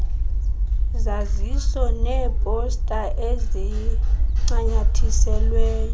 zaziso neeposta ezincanyathiselwe